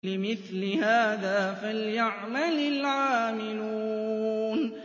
لِمِثْلِ هَٰذَا فَلْيَعْمَلِ الْعَامِلُونَ